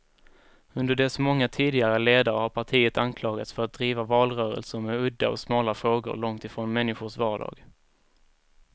Under dess många tidigare ledare har partiet anklagats för att driva valrörelser med udda och smala frågor, långt från människors vardag.